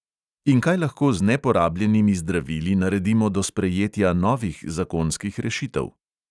In kaj lahko z neporabljenimi zdravili naredimo do sprejetja novih zakonskih rešitev?